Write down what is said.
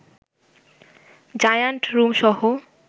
giant রুমসহ